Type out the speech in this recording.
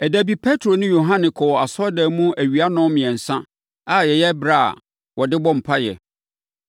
Ɛda bi Petro ne Yohane kɔɔ asɔredan mu awia nnɔnmiɛnsa a ɛyɛ ɛberɛ a wɔde bɔ mpaeɛ.